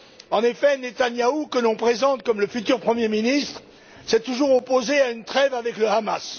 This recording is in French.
En effet, Netanyahu, qu'on présente comme le futur Premier ministre, s'est toujours opposé à une trêve avec le Hamas.